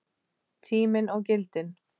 Tíminn og gildin